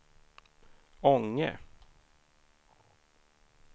Ånge